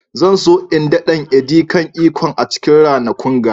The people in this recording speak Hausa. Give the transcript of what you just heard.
Zan so in daɗan " edi kan ikong" a cikin ranakun ga.